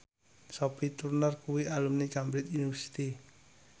Sophie Turner kuwi alumni Cambridge University